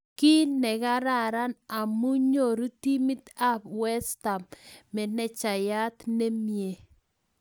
Kii ne kararan amu nyoruu timit ab westam manejaiyat ne miee